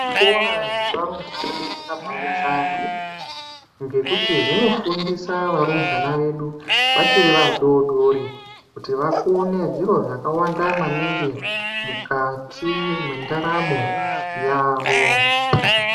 Zvikora zvevarumbwana zvakabanaka maningi ngekuti zvinofundisa varumbwana vedu vachiri vadodori kuti Vakone zviro zvakanaka maningi kuti mukati mendaramo yawo.